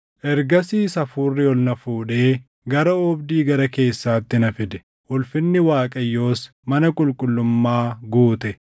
Ergasiis Hafuurri ol na fuudhee gara oobdii gara keessaatti na fide; ulfinni Waaqayyoos mana qulqullummaa guute.